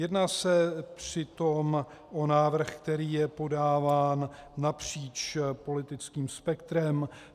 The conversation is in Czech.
Jedná se přitom o návrh, který je podáván napříč politickým spektrem.